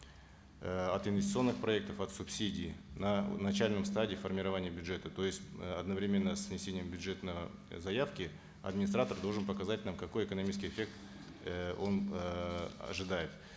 э от инвестиционных проектов от субсидий на начальной стадии формирования бюджета то есть э одновременно с внесением бюджетной заявки администратор должен показать нам какой экономический эффект э он эээ ожидает